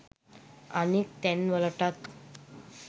අනෙක් තැන් වලටත්